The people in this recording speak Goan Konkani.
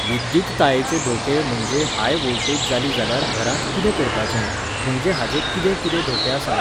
विद्युततायेचे धोके म्हणजे हाय व्होल्टेज जाली जाल्यार घरांत कितें करपाचें, म्हणजे हाचे कितें कितें धोके आसात